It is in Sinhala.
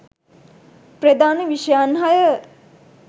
ප්‍රධාන විෂයයන් හය